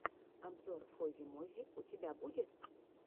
обзор фози мози у тебя будет